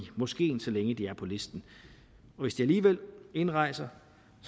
moskeen så længe de er på listen hvis de alligevel indrejser